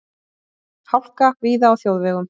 Hálka víða á þjóðvegum